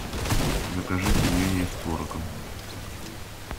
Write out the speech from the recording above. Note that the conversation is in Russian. закажи пельмени с творогом